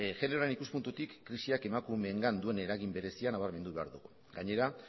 generoaren ikuspuntutik krisiak emakumeengan duen eragin berezia nabarmendu behar dugu gainera